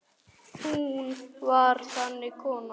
Hún var þannig kona.